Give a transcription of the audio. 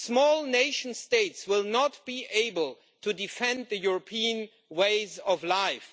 Small nation states will not be able to defend European ways of life